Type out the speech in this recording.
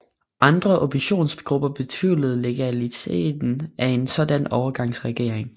Andre oppositionsgrupper betvivlede legaliteten af en sådan overgangsregering